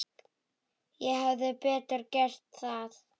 Ég hefði betur gert það.